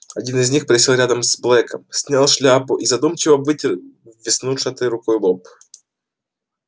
один из них присел рядом с блэком снял шляпу и задумчиво вытер веснушчатой рукой лоб